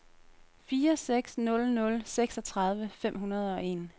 fire seks nul nul seksogtredive fem hundrede og en